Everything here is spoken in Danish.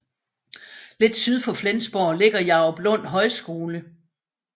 Lidt syd for Flensborg ligger Jaruplund Højskole